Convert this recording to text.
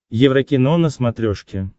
еврокино на смотрешке